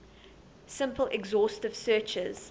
simple exhaustive searches